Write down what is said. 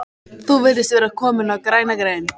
Þú virðist vera kominn á græna grein